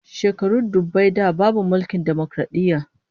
Shekaru dubbai da babu mulkin dimokaradiyya